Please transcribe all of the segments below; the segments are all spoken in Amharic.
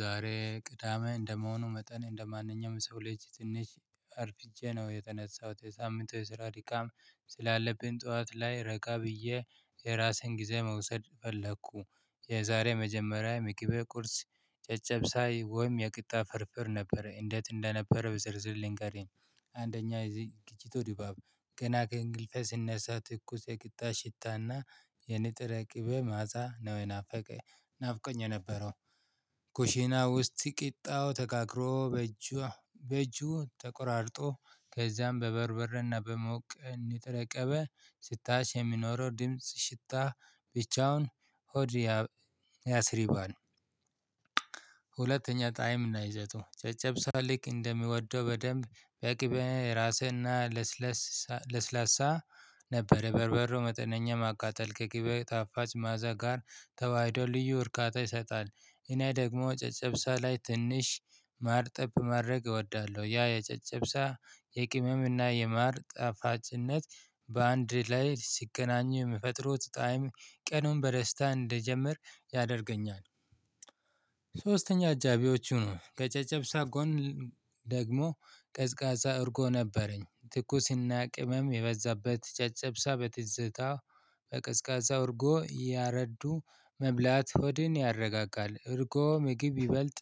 ዛሬ ቅዳሜ እንደመሆኑ መጠን እንደማንኛውም የሰው ልጅ ትንሽ አርፍጄ ነው የተነሳሁት የሳምንቱ የስራ ድካም ስላለብኝ ጠዋት ላይ ረጋ ብዬ የራሴን ጊዜ መውሰድ ፈለግሁ። የዛሬ መጀመሪያ ምግብ ቁርስ ጨጨብሳ ወይም የቂጣ ፍርፍር ነበረ እንዴት እንደነበረ ብዝርዝር ልንገርህ? አንደኛ የዝግጅቱ ድባብ ገና ከእንቅልፌ ስነሳ ትኩስ የቂጣ ሽታና የነጠረ ቅቤ መዕዛ ነው ናፍቆኝ የነበረ። ኩሺና ውስጥ ቂጣው ተጋክሮ በእጇ በእጁ ተቆራርጦ ከዚያም በበርበሬና በሞቀ እንድትረቀበ ስታሽ የሚኖረው ድምጽ ሽታ ብቻውን ሆድ ያ ያስሪባል። ሁለተኛ ጣዕም እና ይዘቱ ጨጨብሳ ልክ እንደሚወደው በደንብ በቅቤ የራሰና ለስለስ ለስላሳ ነበር በርበሬወ መጠነኛ ማቃጠል ከቂቤው ጣፋጭ ማአዛ ጋር ተዋህዶ ልዩ እርካታ ይሰጣል። እኔ ደግሞ ጨጨብሳ ላይ ትንሽ ማር ጠብ ማድረግ እወዳለሁ። ያ የጨጨብሳ የቅመም እና የማር ጣፋጭነት በአንድ ላይ ሲገናኙ የሚፈጥሩት ጣዕም ቀኑን በደስታ እንድጀምር ያደርገኛል። ሶስተኛ አጃቢዎቹ ነው ከጨጨብሳ ጎን ደግሞ ቀዝቃዛ እርጎ ነበረኝ ትኩስና ቅመም የበዛበት ጨጨብሳ በትዝታ በቀዝቃዛ እርጎ ያረዱ መብላት ሆድን ያረጋጋል። እርጎ ምግብ ይበልጥ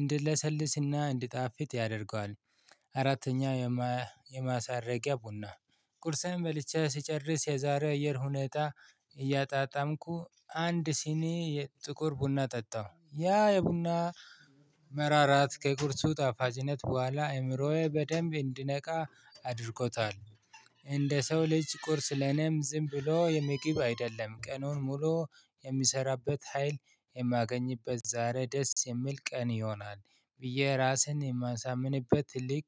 እንድለሰልስና እንዲጣፍጥ ያደርገዋል። አራተኛ የማሳረጊያ ቡና ቁርሴን በልቼ ስጨርስ የዛሬ አየር ሁኔታ እያጣጣምኩ አንድ ሲኒ የጥቁር ቡና ጠጣሁ ያ የቡና መራራነት ከቁርሱ ጣፋጭነት በኋላ አእምሮዬ በደንብ እንዲነቃ አድርጎታል። እንደ ሰው ልጅ ቁርስ ለኔም ዝም ብሎ የምግብ አይደለም ቀኑን ሙሉ የምሰራበት ሀይል የማገኝበት ዛሬ ደስ የሚል ቀን ይሆናል። ብዬ ራሴን የማሳምንበት ትልቅ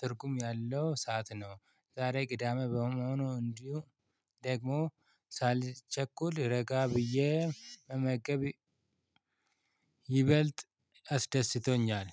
ትርጉም ያለው ሰዓት ነው። ዛሬ ቅዳሜ በመሆኑ እንዲሁ ደግሞ ሳልቸኩል ረጋ ብዬ መመገብ ይበልጥ አስደስቶኛል።